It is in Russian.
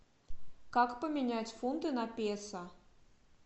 как поменять фунты на песо